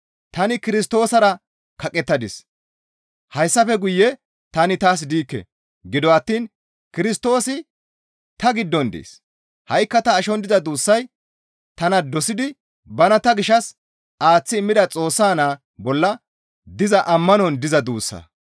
Tani Kirstoosara kaqettadis; hayssafe guye tani taas diikke; gido attiin Kirstoosi ta giddon dees; ha7ikka ta ashon diza duussay tana dosidi bana ta gishshas aaththi immida Xoossa Naa bolla diza ammanon diza duussa.